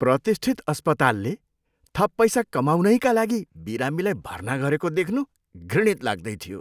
प्रतिष्ठित अस्पतालले थप पैसा कमाउनैका लागि बिरामीलाई भर्ना गरेको देख्नु घृणित लाग्दैथियो।